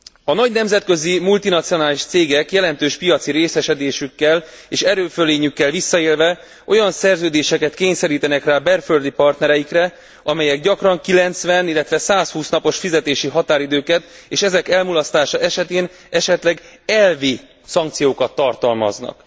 A nagy nemzetközi multinacionális cégek jelentős piaci részesedésükkel és erőfölényükkel visszaélve olyan szerződéseket kényszerítenek rá belföldi partnereikre, amelyek gyakran 90, illetve 120 napos határidőket és ezek elmulasztása esetén esetleg elvi szankciókat tartalmaznak.